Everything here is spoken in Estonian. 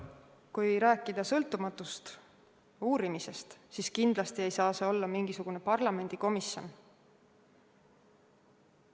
Kui rääkida sõltumatust uurimisest, siis kindlasti ei saa see olla mingisugune parlamendikomisjon.